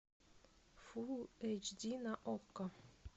фул эйч ди на окко